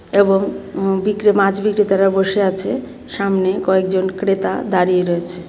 এবং উম বিক্রে মাছ বিক্রেতারা বসে আছে সামনে কয়েকজন ক্রেতা দাঁড়িয়ে রয়েছে.